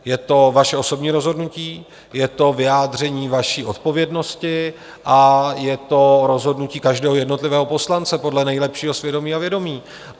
Je to vaše osobní rozhodnutí, je to vyjádření vaší odpovědnosti a je to rozhodnutí každého jednotlivého poslance podle nejlepšího svědomí a vědomí.